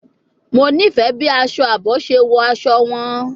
Mo nifẹ bi aṣọ aabo ṣe wọ aṣọ wọn